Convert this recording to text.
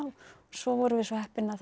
svo vorum við svo heppin að það